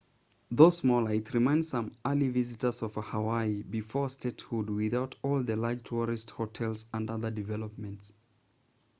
though smaller it reminds some elderly visitors of hawaii before statehood without all the large tourist hotels and other development